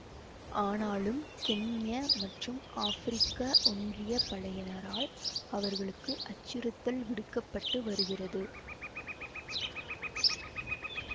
ஆனாலும் கென்ய மற்றும் ஆப்பிரிக்க ஒன்றிய படையினரால் அவர்களுக்கு அச்சுறுத்தல் விடுக்க பட்டு வருகிறது